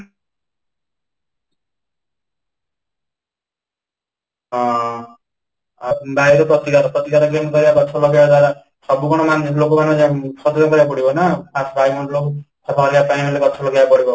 ହଁ, ଅ ବାୟୁ ର ପ୍ରତିକାର, ପ୍ରତିକାର କେମିତି କରିବା ଗଛ ଲଗେଇବା ସବୁଜ କରିବାକୁ ପଡିବ ନା ବାୟୁ ମଣ୍ଡଳ କୁ ସଫା କରିବା ପାଇଁ ହେଲେ ଗଛ ଲଗେଇବାକୁ ପଡିବ